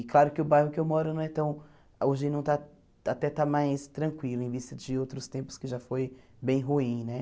E claro que o bairro que eu moro não é tão... Hoje não está... Até está mais tranquilo, em vista de outros tempos que já foi bem ruim né.